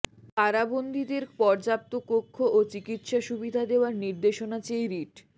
কারাবন্দিদের পর্যাপ্ত কক্ষ ও চিকিৎসা সুবিধা দেওয়ার নির্দেশনা চেয়ে রিট